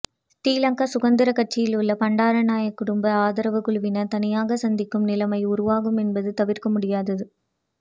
ஸ்ரீ லங்கா சுதந்திரக் கட்சியிலுள்ள பண்டாரநாயக்க குடும்ப ஆதரவு குழுவினர் தனியாக சிந்திக்கும் நிலைமை உருவாகும் என்பது தவிர்க்க முடியாதது